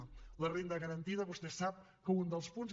en la renda garantida vostè sap que un dels punts